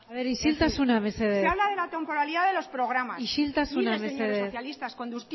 isiltasuna mesedez se habla de la temporalidad de los programas isiltasuna mesedez miren señores socialistas